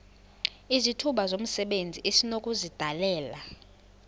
izithuba zomsebenzi esinokuzidalela